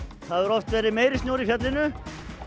það hefur oft verið meiri snjór í fjallinu